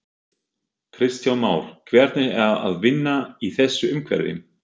Kristján Már: Hvernig er að vinna í þessu umhverfi?